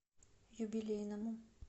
юбилейному